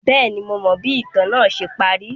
Bẹẹni, Mo mọ bi itan naa ṣe pari